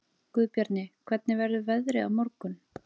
Guðbjarni, hvernig verður veðrið á morgun?